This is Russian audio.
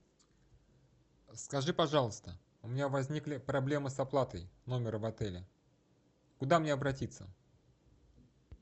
скажи пожалуйста у меня возникли проблемы с оплатой номера в отеле куда мне обратиться